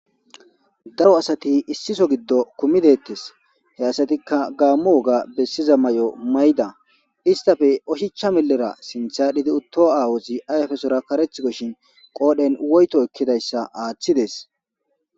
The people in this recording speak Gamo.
Daro asati issiso gido kumideetes he asatika gaamo woga besiza mayo mayida istape oshicha milera sitha aal'idi utho aawazi ayfesora karetikoshin qool'en woytho ekidaysa aathides.